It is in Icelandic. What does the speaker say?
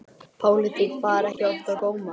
Pólitík bar ekki oft á góma.